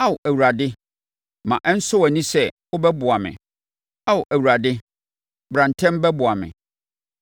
Ao Awurade, ma ɛnsɔ wʼani sɛ wobɛboa me; Ao Awurade, bra ntɛm bɛboa me.